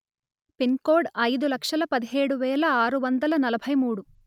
pin code అయిదు లక్షలు పదిహేడు వేల ఆరు వందలు నలభై మూడు